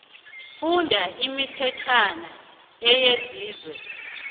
nofana imithetjhwana eyenziwe